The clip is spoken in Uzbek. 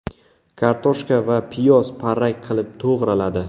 Kartoshka va piyoz parrak qilib to‘g‘raladi.